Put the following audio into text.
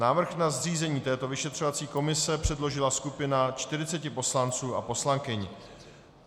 Návrh na zřízení této vyšetřovací komise předložila skupina 40 poslanců a poslankyň.